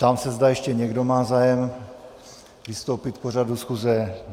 Ptám se, zda ještě někdo má zájem vystoupit k pořadu schůze.